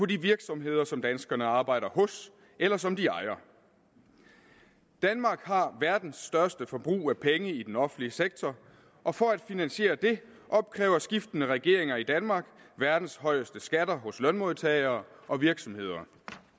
de virksomheder som danskerne arbejder hos eller som de ejer danmark har verdens største forbrug af penge i den offentlige sektor og for at finansiere det opkræver skiftende regeringer i danmark verdens højeste skatter hos lønmodtagere og virksomheder